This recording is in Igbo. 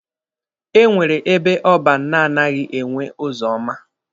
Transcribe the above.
E nwere ebe ọban na-anaghi enwe ụzọ ọma.